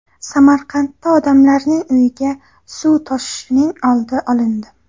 Samarqandda odamlarning uyiga suv toshishining oldi olindi.